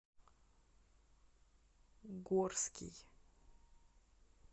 горский